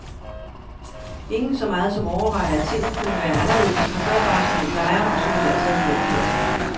Ingen så meget som overvejer, at tingene kunne være anderledes, man gør bare, som man plejer, og som man altid har gjort her.